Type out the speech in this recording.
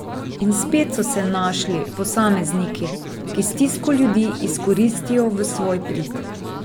In spet so se našli posamezniki, ki stisko ljudi izkoristijo v svoj prid.